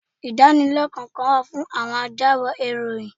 Ìdánilẹ́kọ̀ọ́ kan wà fún àwọn ajábọ̀ ìròyìn.